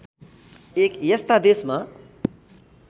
एक यस्ता देशमा